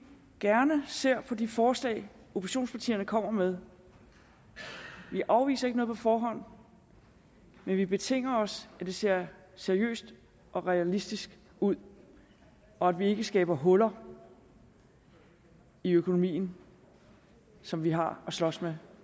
gerne ser på de forslag oppositionspartierne kommer med vi afviser ikke noget på forhånd men vi betinger os at det ser seriøst og realistisk ud og at vi ikke skaber huller i økonomien som vi har at slås med